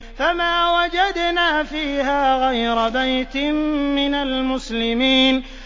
فَمَا وَجَدْنَا فِيهَا غَيْرَ بَيْتٍ مِّنَ الْمُسْلِمِينَ